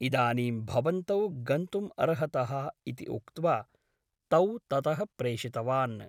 इदानीं भवन्तौ गन्तुम् अर्हतः इति उक्त्वा तौ ततः प्रेषितवान् ।